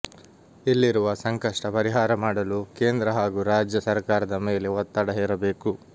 ಇಲ್ಲಿರುವ ಸಂಕಷ್ಟ ಪರಿಹಾರ ಮಾಡಲು ಕೇಂದ್ರ ಹಾಗೂ ರಾಜ್ಯ ಸರ್ಕಾರದ ಮೇಲೆ ಒತ್ತಡ ಹೇರಬೇಕು